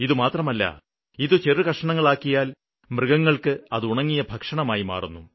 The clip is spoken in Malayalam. ഇതുമാത്രമല്ല ഇത് ചെറുകഷ്ണങ്ങളാക്കിയാല് മൃഗങ്ങള്ക്ക് അത് ഉണങ്ങിയ ഭക്ഷണമായി മാറുന്നു